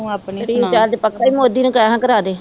Recharge ਪੱਕਾ ਈ ਮੋਦੀ ਨੂੰ ਕਹਿ ਹਾਂ ਕਰਾਦੇ।